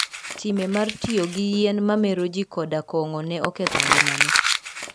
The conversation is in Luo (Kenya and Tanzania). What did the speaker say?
Time mar tiyo gi yien mameroji koda kong`o ne oketho ngimane.